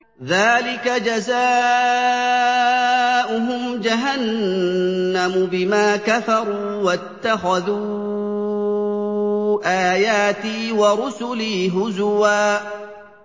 ذَٰلِكَ جَزَاؤُهُمْ جَهَنَّمُ بِمَا كَفَرُوا وَاتَّخَذُوا آيَاتِي وَرُسُلِي هُزُوًا